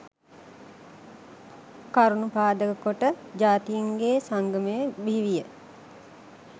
කරුණු පාදක කොට ජාතීන්ගේ සංගමය බිහිවිය